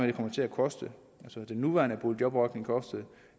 det kommer til at koste den nuværende boligjobordning kostede